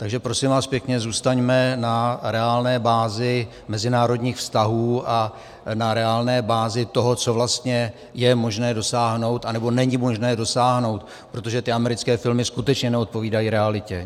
Takže prosím vás pěkně, zůstaňme na reálné bázi mezinárodních vztahů a na reálné bázi toho, co vlastně je možné dosáhnout, anebo není možné dosáhnout, protože ty americké filmy skutečně neodpovídají realitě!